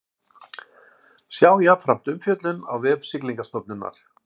Sjá jafnframt umfjöllun á vef Siglingastofnunar